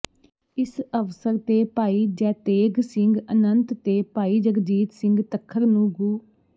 ਇਸ ਅਵਸਰ ਤੇ ਭਾਈ ਜੇੈਤੇਗ ਸਿੰਘ ਅਨੰਤ ਤੇ ਭਾਈ ਜਗਜੀਤ ਸਿੰਘ ਤੱਖਰ ਨੂੰ ਗੁ